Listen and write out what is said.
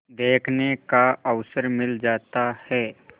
देखने का अवसर मिल जाता है